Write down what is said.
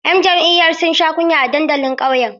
‘Yan jam’iyyar sun sha kunya a dandalin ƙauyen.